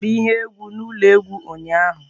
E mere ihe egwu n'ụlọ egwu ụnyaahụ.